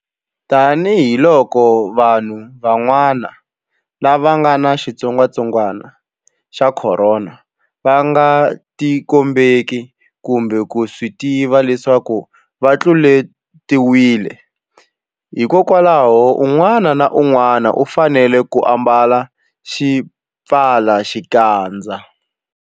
Tanihiloko vanhu van'wana lava nga ni xitsongwantsongwana xa Khorona va nga tikombeki kumbe ku swi tiva leswaku va tluletiwile, hikwalaho un'wana na un'wana u fanele ku ambala xipfalaxikandza.